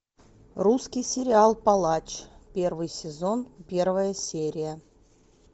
русский сериал палач первый сезон первая серия